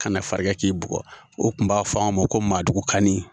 Kana fara i kan k'i bugɔ ,o kun b'a fɔ anw ma ko maaduguka ni